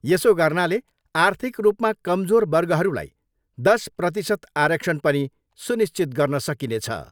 यसो गर्नाले आर्थिक रूपमा कमजोर वर्गहरूलाई दश प्रतिशत आरक्षण पनि सुनिश्चित गर्न सकिनेछ।